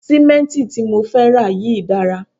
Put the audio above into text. Sì̀mẹ́ǹtì tí mo fẹ́ rà yìí dára